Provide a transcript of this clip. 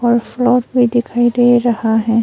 और फ्लोर भी दिखाई दे रहा है।